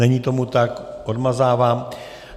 Není tomu tak, odmazávám.